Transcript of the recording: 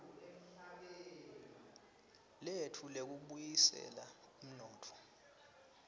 letfu lekubuyisela umnotfo